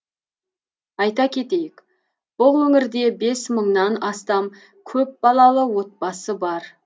айта кетейік бұл өңірде бес мыңнан астам көпбалалы отбасы бар